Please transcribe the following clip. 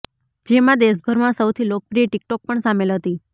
જેમાં દેશભરમાં સૌથી લોકપ્રિય ટીકટોક પણ સામેલ હતી